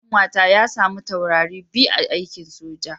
Mijin kanwata ya samu taurari biyu a aikin soja.